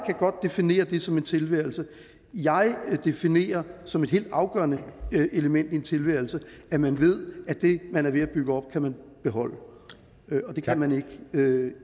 godt definere det som en tilværelse jeg definerer som et helt afgørende element i en tilværelse at man ved at det man er ved at bygge op kan man beholde og det kan man ikke